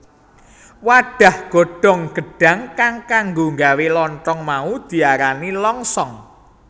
Wadhah godhong gedhang kang kanggo nggawe lonthong mau diarani longsong